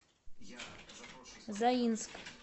заинск